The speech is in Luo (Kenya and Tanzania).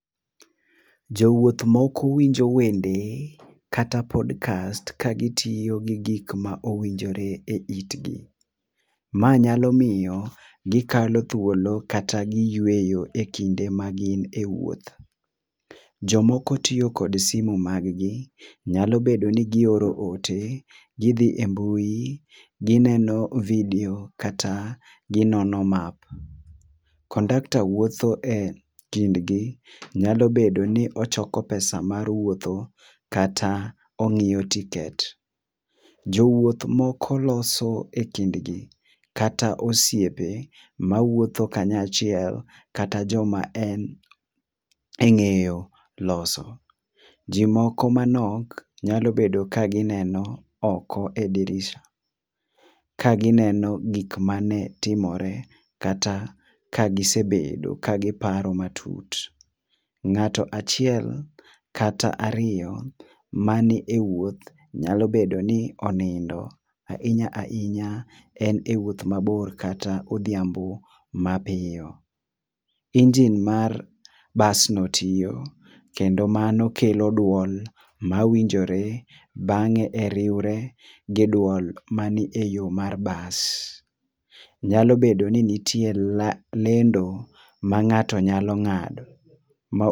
Jowuotho winjo wende kata podcast ka gi tiyo gi gik ma owinjore e it gi, ma nyalo miyo gi kalo thuolo kata gi yueyo ,e kinde ma gine e wuoth. Jo moko tiyo kod simo mar gi nyalo bedo ni gi oro ote, gi dhi e mbui, gi neno video kata gi nono map. Kondakta wuotho e kind gi nyalo bedo ni ochoko pesa mar wuoth kata ochoko ticket. Jowuoth moko loso e kind gi kata osiepe ma wuotho ka anya chiel kata jo ma en e ng'eyo loso. Ji moko manok nyalo bedo ka gi neno oko e dirisha ka gi noso gik am ne timire kata gi sebedo ka gi paro matut. Ng'ato achiel kata ariyo ma nie wuoth nyalo bedo ni onindo. Ahinya ahinya en e wuoth ma bor kata odhiambo ma piyo engine mar bus no toyo kendo mano kelo duol ma winjore bange e riwre gi duol ma ni e yo mar bus].nyalo bet ni nitie lendo ma ngato nyalo ngado, ma